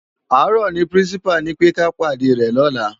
Àárò ni pirinsipá ni pé ká pádè rè lòlá